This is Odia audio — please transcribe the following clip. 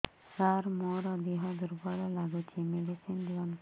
ସାର ମୋର ଦେହ ଦୁର୍ବଳ ଲାଗୁଚି ମେଡିସିନ ଦିଅନ୍ତୁ